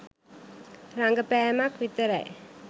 රඟපැම්ක් විතරයි.